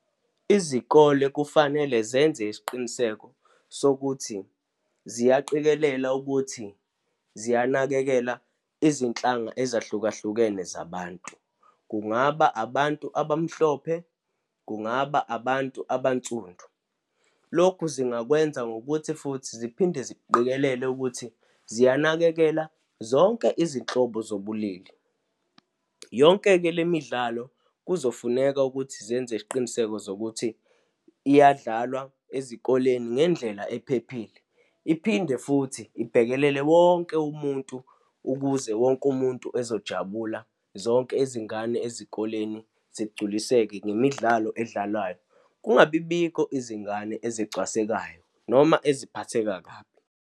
Izikole kufanele zenze isiqiniseko sokuthi ziyaqikelela ukuthi ziyanakekela izinhlanga ezahlukahlukene zabantu. Kungaba abantu abamhlophe, kungaba abantu abansundu. Lokhu zingakwenza ngokuthi futhi ziphinde ziqikelele ukuthi ziyanakekela zonke izinhlobo zobulili. Yonke-ke le midlalo, kuzofuneka ukuthi zenze isiqiniseko zokuthi iyadlalwa ezikoleni ngendlela ephephile. Iphinde futhi ibhekelele wonke umuntu ukuze wonke umuntu ezojabula, zonke izingane ezikoleni zingculiseke ngemidlalo edlalwayo. Kungabibikho izingane ezicwasekayo, noma eziphatheka kabi.